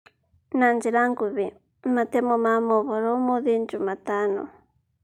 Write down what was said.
Na njĩra nguhĩ: Matemo ma mohoro ũmũthĩ Njumatano